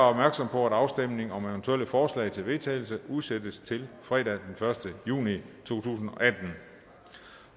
på at afstemning om eventuelle forslag til vedtagelse udsættes til fredag den første juni to tusind